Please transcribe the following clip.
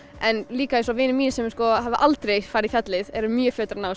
en líka eins og vinir mínir sem hafa aldrei farið í fjallið eru mjög fljótir að ná